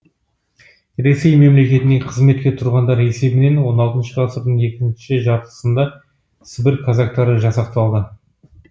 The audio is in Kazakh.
ресей мемлекетіне қызметке тұрғандар есебінен он алтыншы ғасырдың екінші жартысында сібір казактары жасақталды